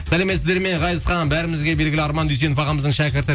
сәлеметсіздер ме ғазизхан бәрімізге белгілі арман дүйсенов ағамыздың шәкірті